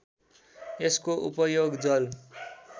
यसको उपयोग जल